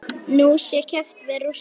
Nú sé keppt við Rússa.